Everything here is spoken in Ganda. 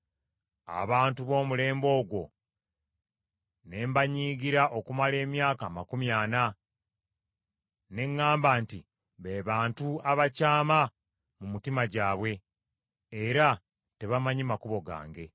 Abantu b’omulembe ogwo ne mbasunguwalira okumala emyaka amakumi ana; ne ŋŋamba nti, ‘Be bantu abakyama mu mutima gwabwe, era tebamanyi makubo gange.’